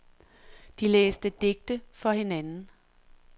De læste digte for hinanden.